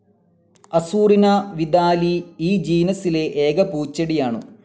അസൂറിനാ വിദാലി ഈ ജീനസിലെ ഏക പൂച്ചെടിയാണു.